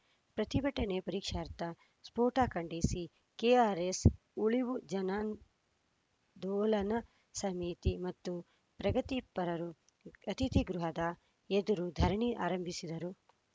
ಪ್ರತಿಭಟನೆ ಪರೀಕ್ಷಾರ್ಥ ಸ್ಫೋಟ ಖಂಡಿಸಿ ಕೆಆರ್‌ಎಸ್‌ ಉಳಿವು ಜನಾಂದೋಲನ ಸಮಿತಿ ಮತ್ತು ಪ್ರಗತಿಪರರು ಅತಿಥಿ ಗೃಹದ ಎದುರು ಧರಣಿ ಆರಂಭಿಸಿದರು